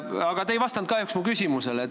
Aga te ei vastanud kahjuks mu küsimusele.